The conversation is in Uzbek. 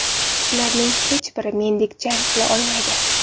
Ularning hech bir mendek jang qila olmaydi.